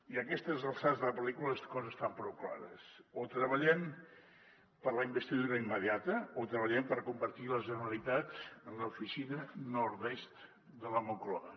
i a aquestes alçades de la pel·lícula les coses estan prou clares o treballem per la investidura immediata o treballem per convertir la generalitat en l’oficina nordest de la moncloa